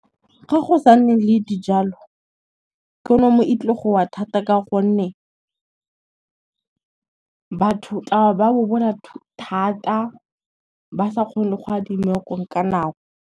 Ga go sa nne le dijalo, ikonomi e tlo go wa thata ka gonne, batho tla ba ba bobola thata ba sa kgone go .